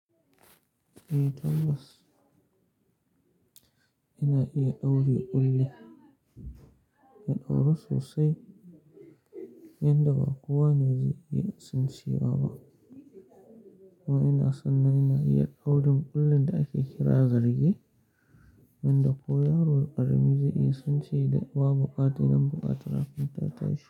Eh Tabbas, ina iya daure ƙulli. Ya dauru sosai, inda ba kowa ne zai iya sincewa ba. Amma ina son na ina iya daurin kullin da ake kira zarge, wanda kowa yaro ƙarami da zai iya cin shi da wa buƙata ina bukata rafinta ta ci.